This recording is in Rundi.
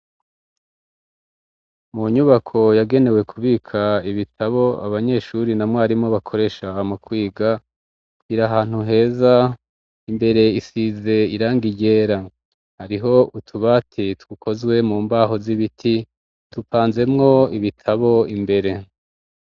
Mu nyubako yagenewe kubika ibitabo, abanyeshuri na mwarimu ,bakoresha mukwiga, iri ahantu heza, imbere isize iranga ryera ,hariho utubati dukozwe mu mbaho z'ibiti ,tupanzemwo ibitabo imbere.